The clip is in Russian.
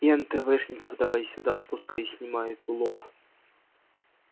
и энтэвэшников давай сюда пускай снимают улов